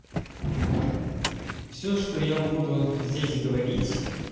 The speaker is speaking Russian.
всё что я буду здесь говорить